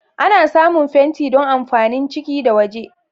Ana samun fenti don amfanin ciki da waje.